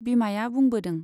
बिमाया बुंबोदों।